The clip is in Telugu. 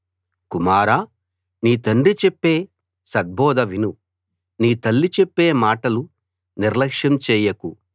కుమారా నీ తండ్రి చెప్పే సద్బోధ విను నీ తల్లి చెప్పే మాటలు నిర్ల్యక్ష్యం చెయ్యకు